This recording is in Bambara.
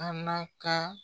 Ana ka